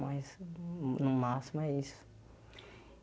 Mas, no no máximo, é isso.